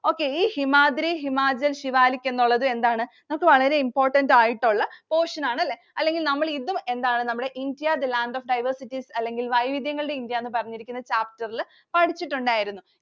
Okay ഈ ഹിമാദ്രി, ഹിമാചല്‍, സിവാലിക് എന്നുള്ളത് എന്താണ്? നമുക്ക് വളരെ important ആയിട്ടുള്ള portion ആണ് അല്ലേ? അല്ലെങ്കില്‍ നമ്മൾ ഇതും എന്താണ് നമ്മളുടെ India the land of the diversities അല്ലെങ്കില്‍ വൈവിധ്യങ്ങളുടെ ഇന്ത്യ എന്ന് പറഞ്ഞിരിക്കുന്ന chapter ഇല്‍ പഠിച്ചിട്ടുണ്ടായിരുന്നു.